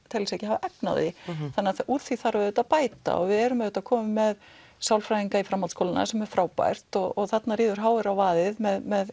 telja sig ekki hafa efni á því og úr því þarf auðvitað að bæta og við erum komin með sálfræðinga í framhaldsskólana sem er frábært og þarna ríður h r á vaðið með